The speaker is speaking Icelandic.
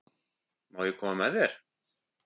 Má ég koma með þér?